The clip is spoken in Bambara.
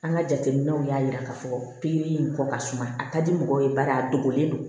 An ka jateminɛw y'a jira k'a fɔ pikiri in kɔ ka suma a ka di mɔgɔ ye bari a dogolen do